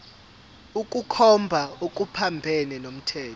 ukukhomba okuphambene nomthetho